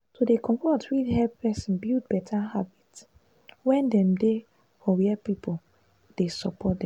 dey fit help person build better habit when dem dey for where people dey support dem.